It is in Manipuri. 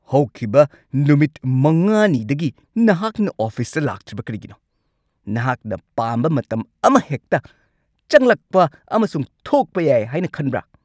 ꯍꯧꯈꯤꯕ ꯅꯨꯃꯤꯠ ꯵ꯅꯤꯗꯒꯤ ꯅꯍꯥꯛꯅ ꯑꯣꯐꯤꯁꯇ ꯂꯥꯛꯇ꯭ꯔꯤꯕ ꯀꯔꯤꯒꯤꯅꯣ? ꯅꯍꯥꯛꯅ ꯄꯥꯝꯕ ꯃꯇꯝ ꯑꯃꯍꯦꯛꯇ ꯆꯪꯂꯛꯄ ꯑꯃꯁꯨꯡ ꯊꯣꯛꯄ ꯌꯥꯏ ꯍꯥꯏꯅ ꯈꯟꯕ꯭ꯔꯥ?